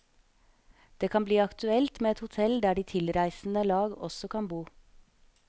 Det kan bli aktuelt med et hotell der de tilreisende lag også kan bo.